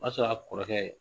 O y'a sɔrɔ a kɔrɔkɛ